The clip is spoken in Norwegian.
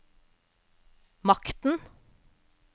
makten